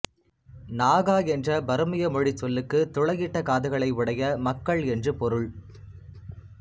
நாகா என்ற பருமிய மொழிச் சொல்லுக்கு துளையிட்ட காதுகளை உடைய மக்கள் என்று பொருள்